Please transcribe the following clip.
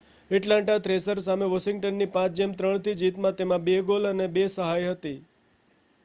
Atlanta Thrasher સામે વોશિંગ્ટનની 5-3 થી જીતમાં તેના 2 ગોલ અને 2 સહાય હતી